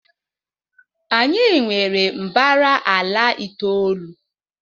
anyị nwere mbara ala itoolu